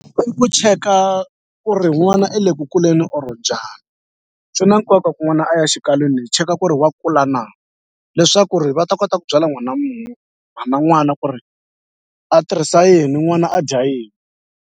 I ku cheka ku ri n'wana i le ku kuleni or njhani swi na nkoka ku n'wana a ya xikalwini hi cheka ku ri wa kula na leswaku ri va ta kota ku byela n'wina mhana n'wana ku ri a tirhisa yini n'wana a dya yini.